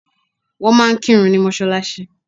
Wọ́n máa ń kírun ní mọ́sálásí.